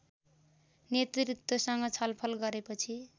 नेतृत्वसँग छलफल गरेपछि